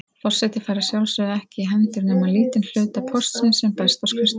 Forseti fær að sjálfsögðu ekki í hendur nema lítinn hluta póstsins sem berst á skrifstofuna.